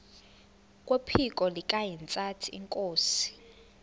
kwephiko likahintsathi inkosi